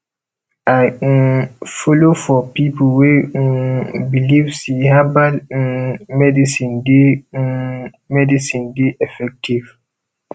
i um folo for pipo wey um believe sey herbal um medicine dey um medicine dey effective